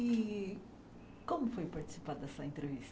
E como foi participar dessa entrevista?